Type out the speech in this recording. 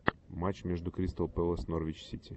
матч между кристал пэлас норвич сити